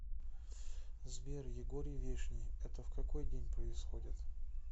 сбер егорий вешний это в какой день происходит